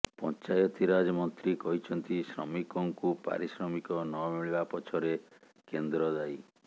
ପଞ୍ଚାୟତିରାଜ ମନ୍ତ୍ରୀ କହିଛନ୍ତି ଶ୍ରମିକଙ୍କୁ ପାରିଶ୍ରମିକ ନମିଳିବା ପଛରେ କେନ୍ଦ୍ର ଦାୟୀ